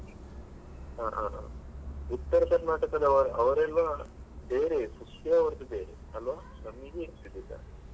ಹ ಹ ಹಾ Uttara Karnataka ದವ~ ಅವರೆಲ್ಲಾ ಬೇರೆಯೇ food ಅವರದ್ದು ಬೇರೆಯೇ ಅಲ್ವ ನಮಿಗೆ ಹಿಡಿಸುದಿಲ್ಲ.